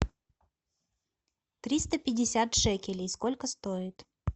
триста пятьдесят шекелей сколько стоит